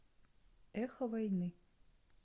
эхо войны